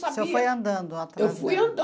sabia. O senhor foi andando atrás... Eu fui